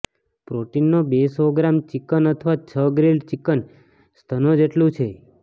પ્રોટીનનો બે સો gram chicken અથવા છ ગ્રીલ્ડ ચિકન સ્તનો જેટલું છે